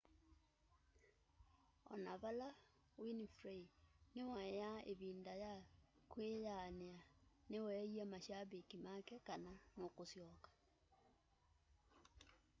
ona vala winfrey niwaiaa ivinda ya kwiyaania niweeie mashabiki make kana nũkũsyoka